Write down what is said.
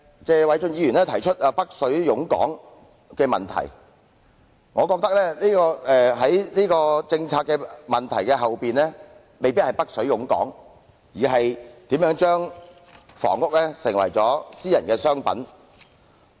謝偉俊議員提出"北水湧港"的問題，但我認為政策背後的問題未必是"北水湧港"，而是房屋如何成為了私人商品。